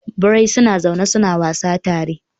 Birai suna zaune suna wasa tare.